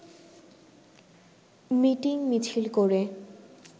মিটিং-মিছিল করে